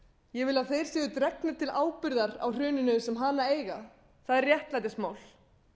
ég vil að þeir séu dregnir til ábyrgðar á hruninu sem hana eiga það er réttlætismál